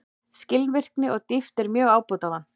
Skilvirkni og dýpt er mjög ábótavant